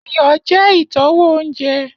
Iyọ jẹ itọwo ounjẹ.